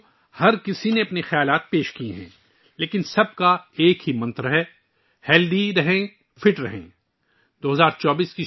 دوستو، سب نے اپنے اپنے خیالات کا اظہار کیا ہے، لیکن سب کا ایک ہی منتر ہے 'صحت مند رہو، فٹ رہو'